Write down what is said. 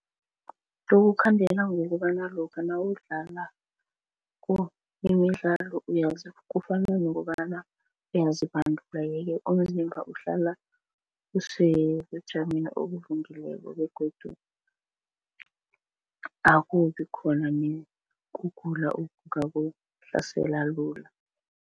Kukukhandela ngokobana lokha nawudlala imidlalo kufana nokobana uyazibandula yeke umzimba uhlala usebujameni begodu akubikhona nekugula okungakuhlasela lula.